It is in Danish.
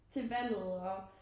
Til valget og